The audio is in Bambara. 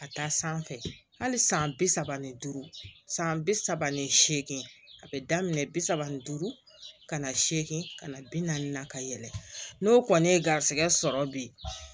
Ka taa sanfɛ hali san bi saba ni duuru san bi saba ni seegin a bɛ daminɛ bi saba ni duuru ka na se ka na bi naani ka yɛlɛ n'o kɔni ye garisɛgɛ sɔrɔ bi